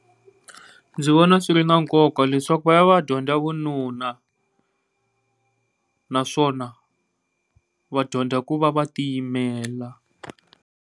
Ndzi vona swi ri na nkoka leswaku va ya va ya dyondza vununa naswona vadyondza ku va va tiyimelela.